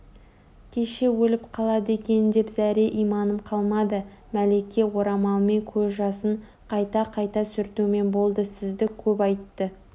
кеше өліп қалады екен деп зәре-иманым қалмады мәлике орамалмен көз жасын қайта-қайта сүртумен болды сізді көп айтты